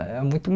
É muito